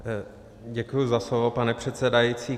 Děkuji za slovo, pane předsedající.